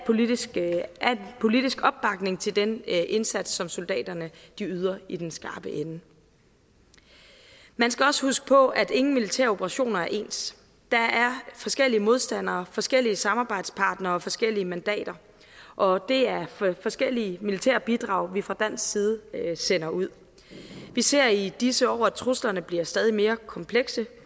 politisk politisk opbakning til den indsats som soldaterne yder i den skarpe ende man skal også huske på at ingen militæroperationer er ens der er forskellige modstandere forskellige samarbejdspartnere og forskellige mandater og det er forskellige militære bidrag vi fra dansk side sender ud vi ser i disse år at truslerne bliver stadig mere komplekse